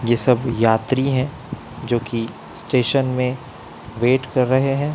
यह सब यात्री है जो की स्टेशन में वेट कर रहे हैं।